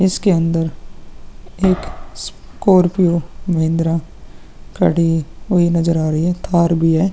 इसके अन्दर एक स्कार्पिओ महिंद्रा खड़ी हुई नज़र आ रही है। थार भी है।